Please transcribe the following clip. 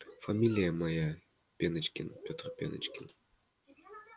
фамилия моя пеночкин петр пеночкин